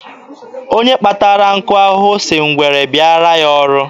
Onye kpatara nkụ ahụhụ si ngwere bịaara ya ọrụ.